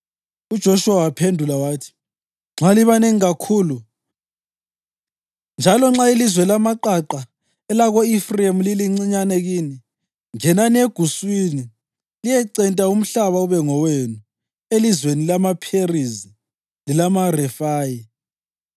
UJoshuwa wabaphendula wathi; “Nxa libanengi kakhulu, njalo nxa ilizwe lamaqaqa elako-Efrayimi lilincinyane kini, ngenani eguswini liyecenta umhlaba ube ngowenu elizweni lamaPherizi lelamaRefayi.”